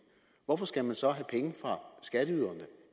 hvorfor skal man så have